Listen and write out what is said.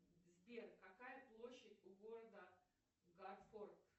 сбер какая площадь у города гарфорд